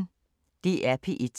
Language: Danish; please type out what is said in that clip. DR P1